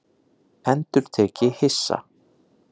endurtek ég hissa.